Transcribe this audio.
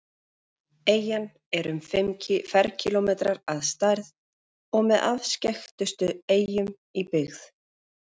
Eyjan er um fimm ferkílómetrar að stærð og með afskekktustu eyjum í byggð.